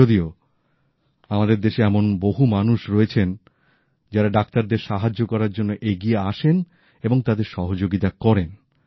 যদিও আমাদের দেশে এমন বহু মানুষ রয়েছেন যারা ডাক্তারদের সাহায্য করার জন্য এগিয়ে আসেন এবং তাদের সহযোগিতা করেন